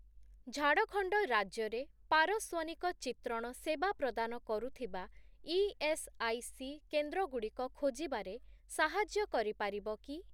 ଝାଡ଼ଖଣ୍ଡ ରାଜ୍ୟରେ ପାରସ୍ଵନିକ ଚିତ୍ରଣ ସେବା ପ୍ରଦାନ କରୁଥିବା ଇଏସ୍ଆଇସି କେନ୍ଦ୍ରଗୁଡ଼ିକ ଖୋଜିବାରେ ସାହାଯ୍ୟ କରିପାରିବ କି?